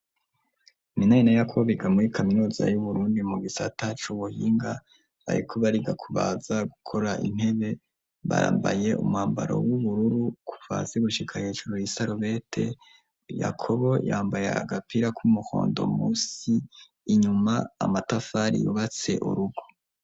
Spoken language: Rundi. Iminanina yakobo biga muri kaminuza y'uburundi mu gisatacu ubuhinga baye kuba rigakubaza gukora intebe barambaye umwambaro w'ubururu kufasi igushika hecaro y'isarobete yakobo yambaye agapira k'umuhondo musi inyuma amatafari yubatse urugo.